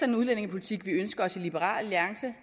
en udlændingepolitik vi ønsker os i liberal alliance